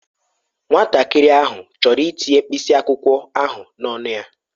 Nwatakịrị ahụ chọrọ itinye mkpịsị akwụkwọ ahụ n'ọnụ ya